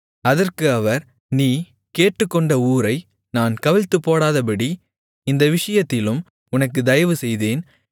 அதற்கு அவர் நீ கேட்டுக்கொண்ட ஊரை நான் கவிழ்த்துப்போடாதபடி இந்த விஷயத்திலும் உனக்கு தயவுசெய்தேன்